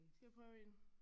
Skal jeg prøve en